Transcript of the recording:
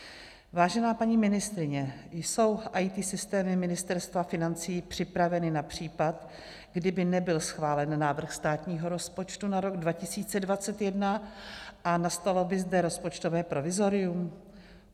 Vážená paní ministryně, jsou IT systémy Ministerstva financí připraveny na případ, kdyby nebyl schválen návrh státního rozpočtu na rok 2021 a nastalo by zde rozpočtové provizorium?